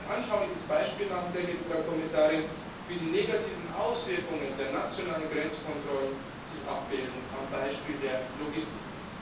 Ich möchte ein anschauliches Beispiel anführen, sehr geehrte Frau Kommissarin, wie die negativen Auswirkungen der nationalen Grenzkontrollen sich abbilden am Beispiel der Logistik.